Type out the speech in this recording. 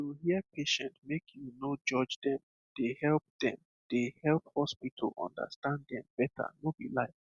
to hear patient make you no judge dem dey help dem dey help hospital understand dem better no be lie